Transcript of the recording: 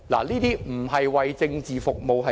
這不是為政治服務是甚麼？